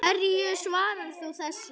Hverju svarar þú þessu?